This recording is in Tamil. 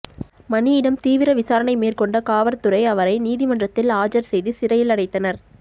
மணியிடம் தீவிர விசாரணை மேற்கொண்ட காவற்துறை அவரை நீதிமன்றத்தில் ஆஜர் செய்து சிறையில் அடைத்தனர்